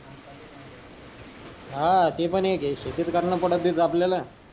हा ते पण एक हे शेतीच करन आपल्याला